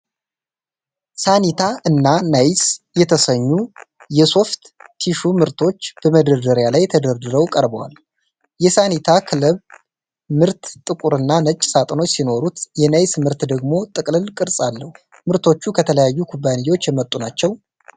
ሳኒታ እና ናይስ የተሰኙ የሶፍት ቲሹ ምርቶች በመደርደሪያ ላይ ተደርድረው ቀርበዋል። የሳኒታ ክልብ ምርት ጥቁር እና ነጭ ሣጥኖች ሲኖሩት የናይስ ምርት ደግሞ ጥቅልል ቅርጽ አለው። ምርቶቹ ከተለያዩ ኩባንያዎች የመጡ ናቸው?